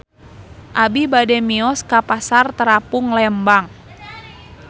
Abi bade mios ka Pasar Terapung Lembang